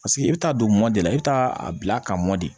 Paseke i bɛ taa don mɔ de la i bɛ taa a bila ka mɔ de